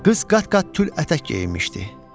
Qız qat-qat tül ətək geyinmişdi.